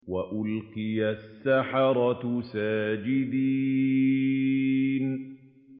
وَأُلْقِيَ السَّحَرَةُ سَاجِدِينَ